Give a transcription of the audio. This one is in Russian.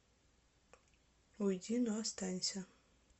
уйди но останься